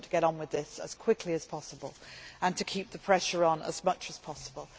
We want to get on with this as quickly as possible and to keep the pressure on as much as possible.